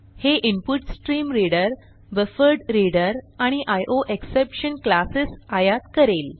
हे input stream reader buffered reader आणि IO exception classes आयात करेल